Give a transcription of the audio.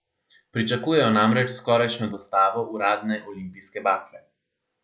Pričakujejo namreč skorajšnjo dostavo uradne olimpijske bakle.